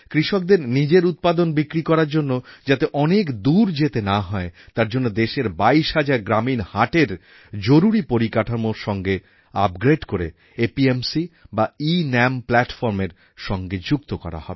কৃষকদের নিজের উৎপাদন বিক্রি করার জন্য যাতে অনেক দূর যেতে না হয় তার জন্য দেশের বাইশ হাজার গ্রামীণ হাটের জরুরি পরিকাঠামোর সঙ্গে আপগ্রেড করে এপিএমসি আর এনাম Platformএর সঙ্গে যুক্ত করা হবে